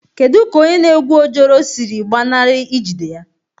Kedu ka onye na-egu ojoro siri gbanarị ijide ya?